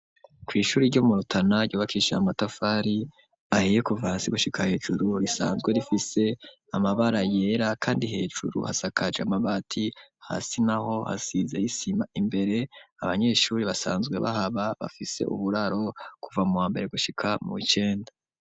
Kw'ishuri ryo murutana ryubakishe amatafari ahiye kuva hasi gushika a hejuru risanzwe rifise amabara yera kandi hejuru hasakaje amabati hasi naho hasize isima imbere abanyeshuri basanzwe bahaba bafise uburaro kuva mu wambere gushika mu icenda.